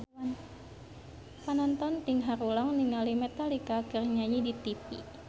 Panonton ting haruleng ningali Metallica keur nyanyi di tipi